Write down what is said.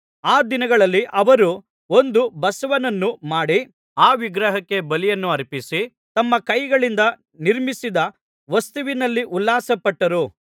ಆ ದಿನಗಳಲ್ಲಿ ಅವರು ಒಂದು ಬಸವನನ್ನು ಮಾಡಿ ಆ ವಿಗ್ರಹಕ್ಕೆ ಬಲಿಯನ್ನು ಅರ್ಪಿಸಿ ತಮ್ಮ ಕೈಗಳಿಂದ ನಿರ್ಮಿಸಿದ ವಸ್ತುವಿನಲ್ಲಿ ಉಲ್ಲಾಸ ಪಟ್ಟರು